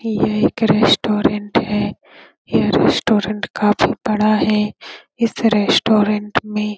यह एक रेस्टोरेंट है ये रेस्टोरेंट काफी बड़ा है इस रेस्टोरेंट में --